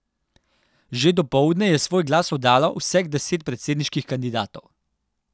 Že dopoldne je svoj glas oddalo vseh deset predsedniških kandidatov.